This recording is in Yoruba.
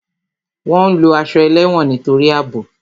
Wọn ń lo aṣọ ẹlẹ́wọ̀n nítorí àbò